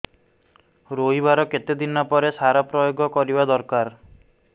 ରୋଈବା ର କେତେ ଦିନ ପରେ ସାର ପ୍ରୋୟାଗ କରିବା ଦରକାର